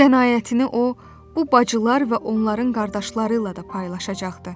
Bu qənaətini o, bu bacılar və onların qardaşları ilə də paylaşacaqdı.